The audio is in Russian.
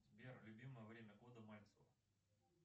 сбер любимое время года мальцева